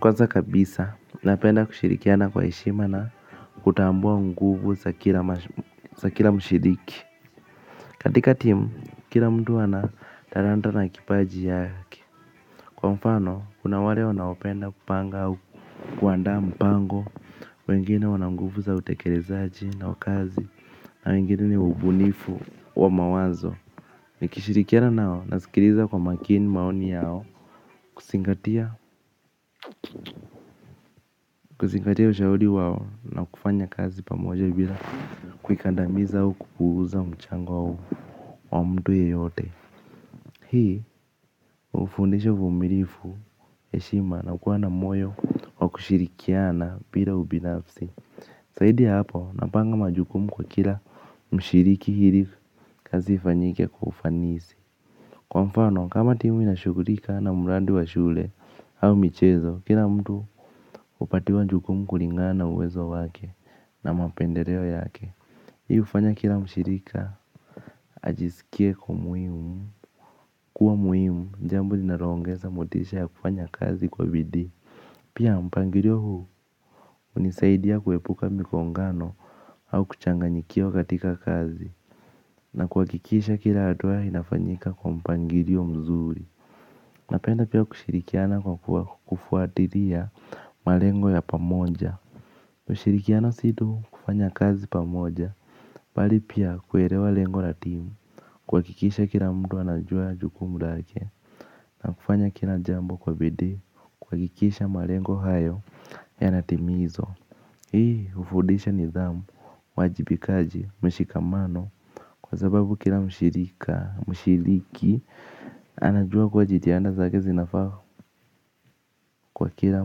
Kwanza kabisa napenda kushirikiana kwa heshima na kutambua nguvu za kila mshiriki katika timu kila mtu ana talanta na kipaji chake kwa mfano kuna wale wanapenda kupanga au kuandaa mpango wengine wana nguvu za utekelezaji na kazi hawa wengine ni ubunifu wa mawazo. Nikishirikiana nao, nasikiliza kwa makini maoni yao. Kuzingatia ushauri wao na kufanya kazi pamoja bila kuikandamiza au kupuuza mchango wao hii hufundisha uvumilivu heshima na kuwa na moyo wa kushirikiana bila ubinafsi zaidi ya hapo napanga majukumu kwa kila mshiriki ili kazi ifanyike kwa ufanisi. Kwa mfano, kama timu inashughulika na mradi wa shule au michezo, kila mtu hupatiwa jukumu kulingana na uwezo wake na mapendeleo yake. Hii hufanya kila mshirika, ajisikie ako muhimu, kuwa muhimu, jambo linaloongeza motisha ya kufanya kazi kwa bidii. Pia mpangilio huu, hunisaidia kuepuka migongano au kuchanganyikiwa katika kazi. Na kuhakikisha kila hatua inafanyika kwa mpangilio mzuri napenda pia kushirikiana kwa kufuatilia malengo ya pamoja kushirikiana si tu kufanya kazi pamoja. Bali pia kuelewa lengo la timu kuhakikisha kila mtu anajua jukumu lake na kufanya kila jambo kwa bidii kuhakikisha malengo hayo yanatimizwa hii hufundisha nidhamu uwajibikaji mshikamano. Kwa sababu kila mshiriki anajua kuwa jitihada zake zinafaa kwa kila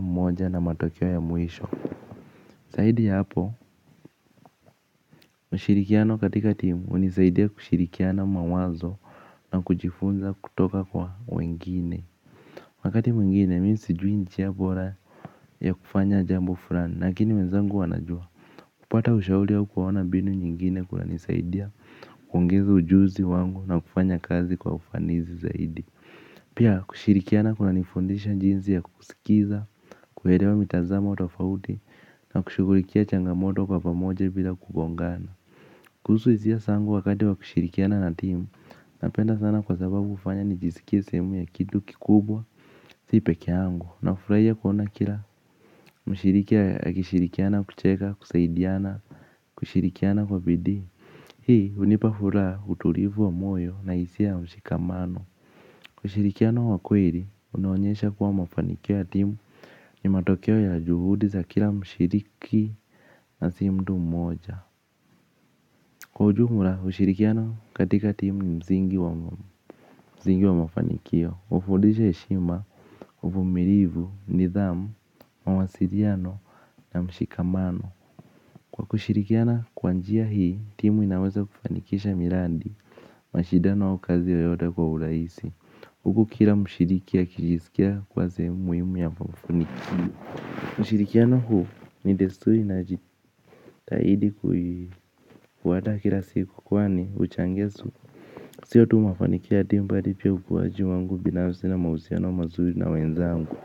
mmoja na matokeo ya mwisho zaidi ya hapo, ushirikiano katika timu hunisaidia kushirikiana mawazo na kujifunza kutoka kwa wengine. Wakati mwengine, mimi sijui njia bora ya kufanya jambo fulani, lakini wenzangu wanajua. Kupata ushauri au kuona mbinu nyingine kunanisaidia, kuongeza ujuzi wangu na kufanya kazi kwa ufanisi zaidi. Pia kushirikiana kunanifundisha jinsi ya kusikiza, kuelewa mitazamo tofauti na kushughulikia changamoto kwa pamoja bila kugongana. Kuhusu hisia zangu wakati wa kushirikiana na timu napenda sana kwa sababu hufanya nijisikie sehemu ya kitu kikubwa si pekee yangu. Nafurahia kuona kila mshiriki akishirikiana kucheka kusaidiana kushirikiana kwa bidii. Hii hunipa furaha utulivu wa moyo na hisia ya mshikamano ushirikiano wa kweli, unaonyesha kuwa mafanikio ya timu ni matokeo ya juhudi za kila mshiriki na si mtu mmoja. Kwa ujumla, kwa ushirikiano katika timu ni msingi wa mafanikio, hufundisha heshima, uvumilivu, nidhamu, mawasiliano na mshikamano. Kwa kushirikiana kwa njia hii, timu inaweza kufanikisha miradi, mashindano au kazi yeyote kwa urahisi. Huku kila mshiriki akijisikia kuwa sehemu muhimu ya mafanikio ushirikiano huu ni desturi na jitihada kuandaa kila siku kwani huchangia. Siyo tu mafanikio timu bali pia ukuaji wangu binafsi na mahusiano mazuri na wenzangu.